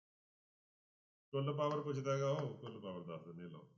ਕੁੱਲ power ਪੁੱਛਦਾ ਗਾ ਉਹ ਕੁੱਲ power ਦੱਸ ਦਿੰਦੇ ਹਾਂ ਲਓ।